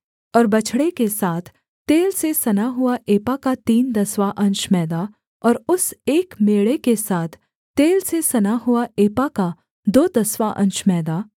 और बछड़े के साथ तेल से सना हुआ एपा का तीन दसवाँ अंश मैदा और उस एक मेढ़े के साथ तेल से सना हुआ एपा का दो दसवाँ अंश मैदा